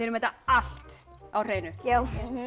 þetta allt á hreinu já